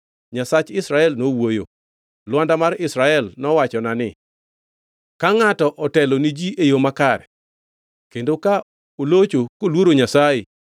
Nyasach Israel nowuoyo; Lwanda mar Israel nowachona ni: Ka ngʼato otelo ni ji e yo makare, kendo ka olocho koluoro Nyasaye,